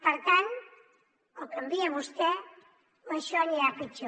per tant o canvia vostè o això anirà a pitjor